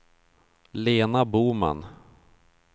Lena Boman